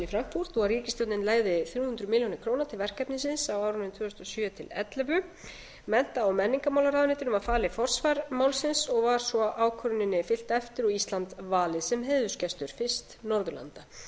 frankfurt og ríkisstjórnin legði þrjú hundruð milljónir til verkefnisins á árinu tvö þúsund og sjö til tvö þúsund og ellefu mennta og menningarmálaráðuneytinu var falið forsvar málsins og var svo ákvörðunina fylgt eftir og ísland valið sem heiðursgestur fyrst norðurlanda